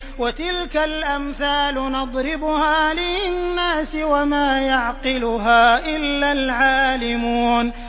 وَتِلْكَ الْأَمْثَالُ نَضْرِبُهَا لِلنَّاسِ ۖ وَمَا يَعْقِلُهَا إِلَّا الْعَالِمُونَ